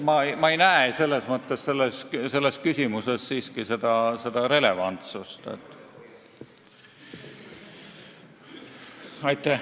Ma ei näe küsimuses selles mõttes siiski relevantsust.